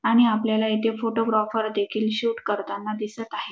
आणि आपल्याला येथे फोटोग्राफर देखील शूट करताना दिसत आहे.